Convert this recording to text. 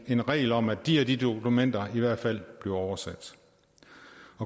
en regel om at de og de dokumenter i hvert fald bliver oversat